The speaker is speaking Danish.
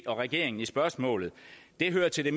og regeringen i spørgsmålet hører til det